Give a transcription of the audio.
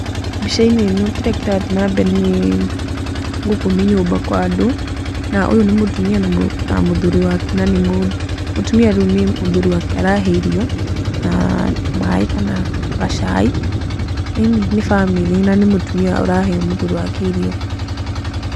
Mbica-ĩnĩ ĩno kĩrĩa kĩrathiĩ na mbere, nĩ gũkũ nĩ nyũmba kwa andũ na ũyũ nĩ mũtumia na mũthuri wake, na mũtumia rĩu ni mũthuri wake arahe irio na tũmai kana gacai, eni nĩ bamĩrĩ na nĩ mũtumia arahe mũthuri wake irio.